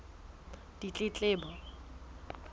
ditletlebo